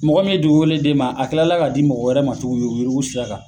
Mɔgɔ min dugukolo d'e ma a kila la k'a di mɔgɔ wɛrɛ ma tuguni yurugu yurugu sira kan.